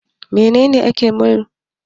Menene ake nufi da mulkin mallaka?